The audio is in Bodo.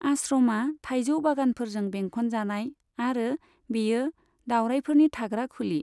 आश्रमा थायजौ बागानफोरजों बेंखन जानाय आरो बेयो दावरायफोरनि थाग्रा खुलि।